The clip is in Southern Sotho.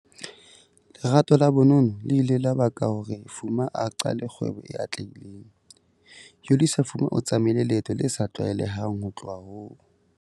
LERATO LA bonono le ile la baka hore Fuma a qale kgwebo e atlehileng. Yolisa Fuma o tsamaile leeto le sa tlwaelehang ho tloha ho.